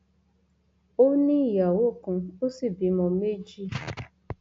ó ní ìyàwó kan ó sì bímọ méjì